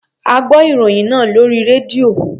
A gbọ́ ìròyìn náà lórí rédíò.